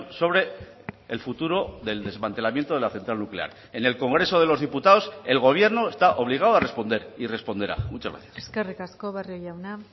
sobre el futuro del desmantelamiento de la central nuclear en el congreso de los diputados el gobierno está obligado a responder y responderá muchas gracias eskerrik asko barrio jauna